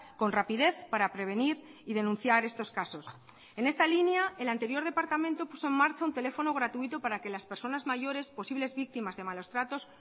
con rapidez para prevenir y denunciar estos casos en esta línea el anterior departamento puso en marcha un teléfono gratuito para que las personas mayores posibles víctimas de malos tratos